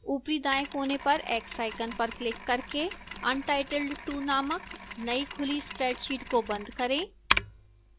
ऊपरी दाएं कोने पर x icon पर क्लिक करके untitled 2 named नई खुला spreadsheet को बंद करें